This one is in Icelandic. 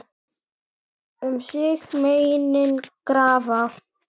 Um sig meinin grafa.